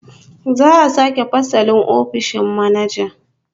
Za'a sake fasalin ofishin manaja